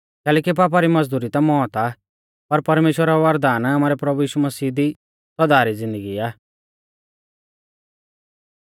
कैलैकि पापा री मज़दुरी ता मौत आ पर परमेश्‍वरा रौ वरदान आमारै प्रभु मसीह यीशु दी सौदा री ज़िन्दगी आ